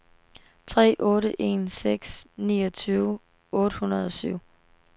tre otte en seks niogtyve otte hundrede og syv